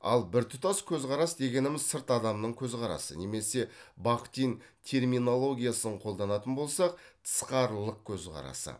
ал біртұтас көзқарас дегеніміз сырт адамның көзқарасы немесе бахтин терминологиясын қолданатын болсақ тысқарылық көзқарасы